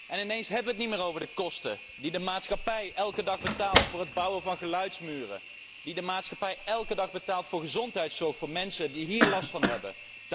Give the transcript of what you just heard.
En ineens hebben wij het niet meer over de kosten die de maatschappij elke dag betaalt voor het bouwen van geluidsmuren, die de maatschappij elke dag betaalt voor gezondheidszorg voor mensen die hier last van hebben.